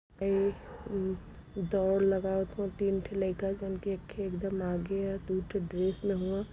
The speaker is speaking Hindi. ए दौड़ लगावत हउवन तीन ठे लइका जवन की एक ठे एकदम आगे ह दू ठे ड्रेस में हउन।